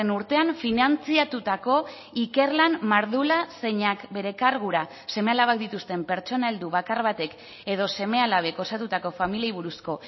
urtean finantzatutako ikerlan mardula zeinak bere kargura seme alabak dituzten pertsona heldu bakar batek edo seme alabek osatutako familiei buruzko